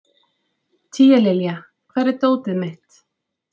Tíalilja, hvar er dótið mitt?